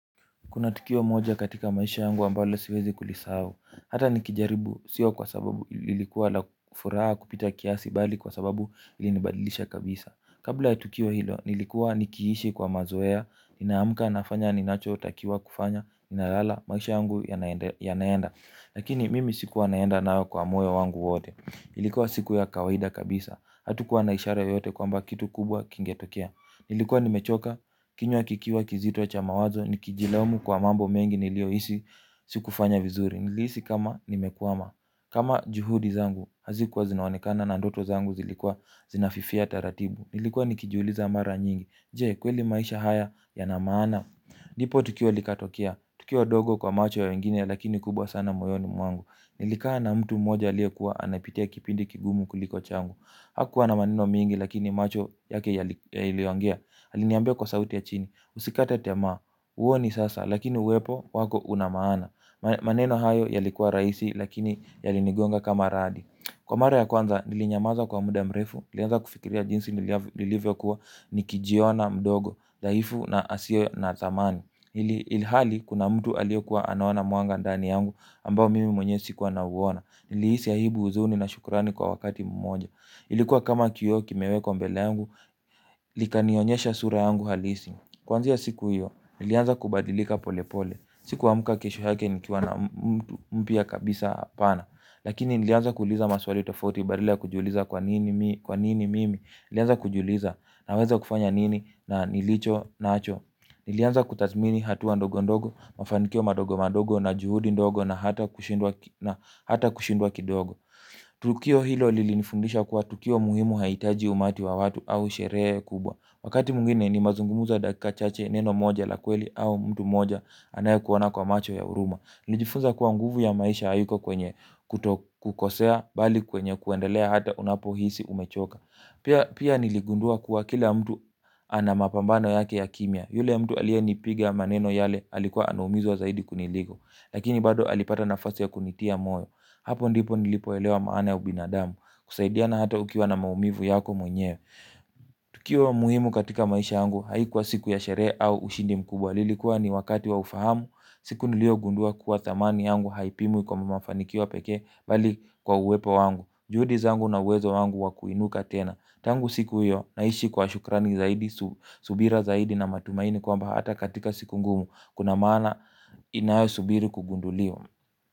Kuna tukio moja katika maisha yangu ambalo siwezi kulisahau. Hata nikijaribu, sio kwa sababu nilikuwa la furaha kupita kiasi bali kwa sababu ilinibadilisha kabisa. Kabla ya tukio hilo, nilikuwa nikiishi kwa mazoea, inaamka nafanya ninacho takiwa kufanya, ninalala maisha yangu ya naenda. Lakini mimi sikuwa naenda nao kwa moyo wangu wote. Ilikuwa siku ya kawaida kabisa. Hatukuwa naishara yote kwa mba kitu kubwa kingetokea. Nilikuwa nimechoka, kinywa kikiwa kizito cha mawazo, nikijilaumu kwa mambo mengi nilio hisi sikufanya vizuri. Nilisi kama nimekwama, kama juhudi zangu, hazikuwa zinaonekana na ndoto zangu zilikuwa zinafifia taratibu. Nilikuwa nikijiuliza mara nyingi, je kweli maisha haya yana maana. Nipo tukio likatokia, tukiwa wadogo kwa macho ya wengine lakini kubwa sana moyoni mwangu. Nilikaa na mtu mmoja aliyekuwa anapitia kipindi kigumu kuliko changu. Hakuwa na maneno mingi lakini macho yake yaliongea aliniambia kwa sauti ya chini. Usikate tamaa. Uoni sasa lakini uwepo wako unamaana. Maneno hayo yalikuwa rahisi lakini yalini gonga kama radi. Kwa mara ya kwanza nilinyamaza kwa muda mrefu nilianza kufikiria jinsi nilivyo kuwa nikijiona mdogo daifu na hasio na dhamani ili hali kuna mtu alio kuwa anaona mwanga dani yangu ambao mimi mwenye sikuwa na uona. Niliisi aibu huzuni na shukurani kwa wakati mmoja. Ilikuwa kama kioo kimewekwa mbele yangu, likanionyesha sura yangu halisi. Kwanzia siku hiyo, nilianza kubadilika pole pole. Sikuamka kesho yake nikiwa na mpya kabisa hapana. Lakini nilianza kuuliza maswali tofauti badala ya kujiuliza kwa nini mimi. Nilianza kujiuliza na weza kufanya nini na nilicho nacho. Nilianza kutazmini hatuwa ndogo ndogo, mafanikio madogo madogo na juhudi ndogo na hata kushindwa kidogo. Tukio hilo lilinifundisha kuwa tukio muhimu haitaji umati wa watu au sherehe kubwa. Wakati mwingine ni mazungumuzo ya dakika chache neno moja la kweli au mtu moja anaye kuona kwa macho ya huruma nilijifunza kuwa nguvu ya maisha haiko kwenye kukosea bali kwenye kuendelea hata unapo hisi umechoka pia. Pia niligundua kuwa kila mtu anamapambano yake ya kimia. Yule mtu aliye nipiga maneno yale alikuwa anumizwa zaidi kuniliko. Lakini bado alipata nafasi ya kunitia moyo. Hapo ndipo nilipoelewa maana ya ubinadamu. Kusaidia na hata ukiwa na maumivu yako mwenye. Tukio muhimu katika maisha yangu haikuwa siku ya sherehe au ushindi mkubwa. Lilikuwa ni wakati wa ufahamu. Siku nilio gundua kuwa thamani yangu haipimwi kwa mafanikio peke bali kwa uwepo wangu. Juhudi zangu na uwezo wangu wakuinuka tena. Tangu siku hiyo naishi kwa shukrani zaidi. Subira zaidi na matumaini kwamba hata katika siku ngumu kuna maana inayo subiri kugunduliwa.